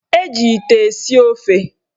Eji ite esi ofe.